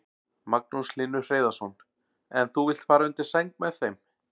Magnús Hlynur Hreiðarsson: En þú vilt fara undir sæng með þeim?